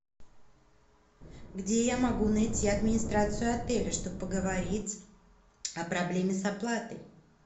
где я могу найти администрацию отеля чтобы поговорить о проблеме с оплатой